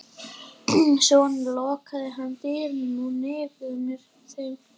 Svo lokaði hann dyrunum á nefið á þeim.